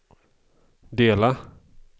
dela